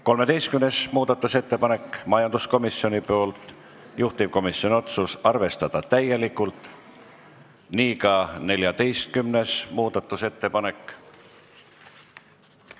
13. muudatusettepanek majanduskomisjonilt, juhtivkomisjoni otsus: arvestada täielikult, nii ka 14. muudatusettepanek.